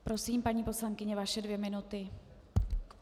Prosím, paní poslankyně, vaše dvě minuty.